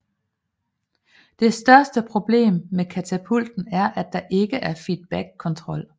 Det største problem med katapulten er at der ikke er feedbackkontrol